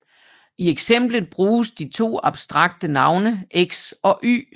I eksemplet bruges de to abstrakte navne X og Y